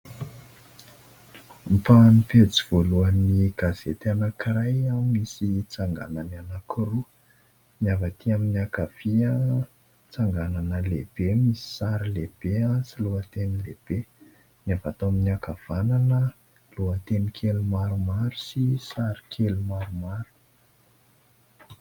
Ampahan'ny pejy voalohan'ny gazety anankiray no misy tsanganany anankiroa: ny avy aty amin'ny ankavia tsanganana lehibe, misy sary lehibe sy lohateny lehibe; ny avy ato amin'ny ankavanana lohateny kely maromaro sy sary kely maromaro.